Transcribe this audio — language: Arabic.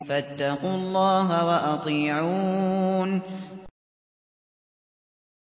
فَاتَّقُوا اللَّهَ وَأَطِيعُونِ